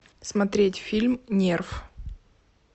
смотреть фильм нерв